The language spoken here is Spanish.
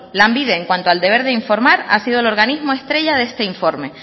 lanbide en cuanto al deber de informar ha sido el organismo estrella de este informe